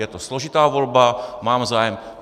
Je to složitá volba, mám zájem...